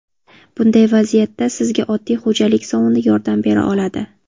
Bunday vaziyatda sizga oddiy xo‘jalik sovuni yordam bera oladi.